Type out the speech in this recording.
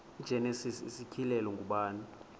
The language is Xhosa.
igenesis isityhilelo ngubani